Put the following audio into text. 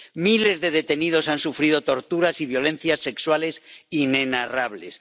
Miles de detenidos han sufrido torturas y violencias sexuales inenarrables.